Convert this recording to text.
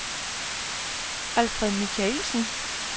Alfred Michaelsen